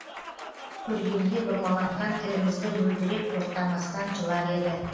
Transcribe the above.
көргенде бұрмаланған тілімізді мөлдіреп тоқтамастан жылар еді